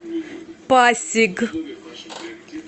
пасиг